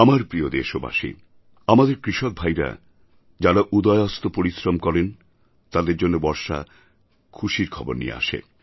আমার প্রিয় দেশবাসী আমাদের কৃষকভাইরা যাঁরা উদয়াস্ত পরিশ্রম করেন তাঁদের জন্য বর্ষা খুশির খবর নিয়ে আসে